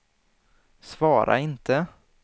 svara inte